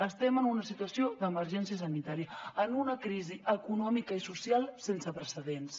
estem en una situació d’emergència sanitària en una crisi econòmica i social sense precedents